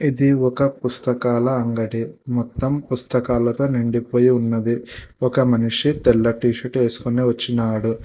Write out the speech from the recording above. ఇది ఒక పుస్తకాల అంగడి మొత్తం పుస్తకాలతో నిండిపోయి ఉన్నది ఒక మనిషి తెల్ల టీ షర్ట్ వేసుకునే వచ్చినాడు.